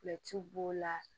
b'o la